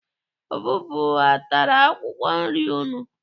Ọvụvụ atara akwụkwọ nri unu?